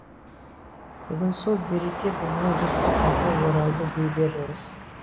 бүгін сол береке біздің жұртқа қайта оралды дей беріңіз